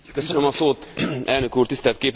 Elnök úr, tisztelt Képviselőtársaim!